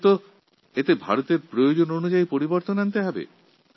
আমরা একে ভারতের প্রয়োজনীয়তা অনুসারে নতুন ভাবে গড়তে চাই